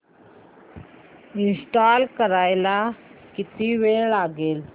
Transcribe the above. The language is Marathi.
इंस्टॉल करायला किती वेळ लागेल